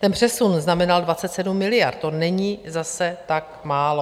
Ten přesun znamenal 27 miliard, to není zase tak málo.